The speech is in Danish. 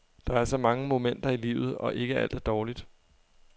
Der er så mange momenter i livet, og ikke alt er dårligt.